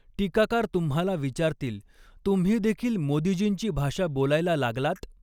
टीकाकार तुम्हाला विचारतील तुम्हीदेखील मोदींजींची भाषा बॊलायला लागलात?